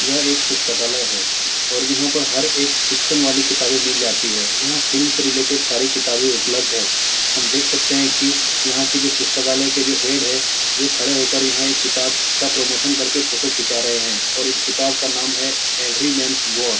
''यह एक पुस्तकालय है और यहाँ पर हर एक फिक्शन वाली किताबे मिलती हैं। यहाँ फिल्म से रिलेटेड सारी किताबे उपलब्द हैं। हम देख सकते हैं की यहाँ कि जो पुस्तकालिये के जो हेड है वह खड़े होके यहाँ एक यहाँ किताब का प्रमोशन करके फोटो खीचा रहे है और इस किताब का नाम है एव्री मेन्स वॉर ।''